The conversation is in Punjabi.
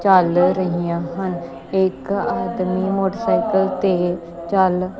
ਚੱਲ ਰਹੀਆ ਹਨ ਇੱਕ ਆਦਮੀ ਮੋਟਰਸਾਈਕਲ ਤੇ ਚੱਲ--